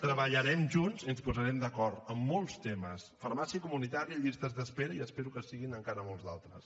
treballarem junts i ens posarem d’acord en molts temes farmàcia comunitària llistes d’espera i espero que en siguin encara molts d’altres